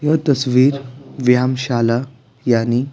यह तस्वीर विहामशाला यानी--